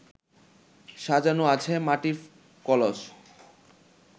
সাজানো আছে মাটির কলস